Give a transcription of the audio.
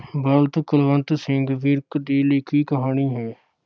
ਬਲਦ ਕੁਲਵੰਤ ਸਿੰਘ ਵਿਰਕ ਦੀ ਲਿਖੀ ਕਹਾਣੀ ਹੈ।